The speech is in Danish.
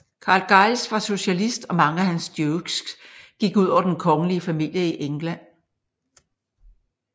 Carl Giles var socialist og mange af hans jokes gik ud over den kongelige familie i England